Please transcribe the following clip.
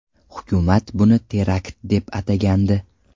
Hukumat buni terakt deb atagandi.